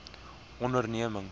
ondernemings